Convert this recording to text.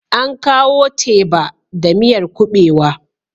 An kawo teba da miyar kuɓewa.